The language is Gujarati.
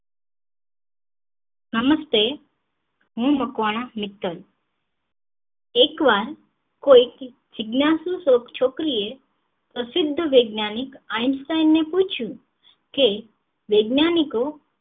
નમસ્તે હું મકવાણા મિત્તલ એક વાર કોઈ જીજ્ઞાશુસૂક્ત છોકરી એ પ્રસિદ્ધ વૈજ્ઞાનિક einstein ને પૂછયું કે વૈજ્ઞાનિકો